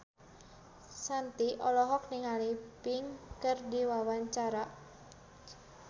Shanti olohok ningali Pink keur diwawancara